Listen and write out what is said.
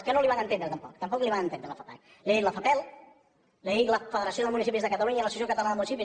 que no el van entendre tampoc tampoc el van entendre a la fapac li ha dit la fapel li ha dit la federació de municipis de catalunya i l’associació catalana de municipis